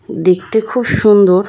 দেখতে খুব সুন্দর।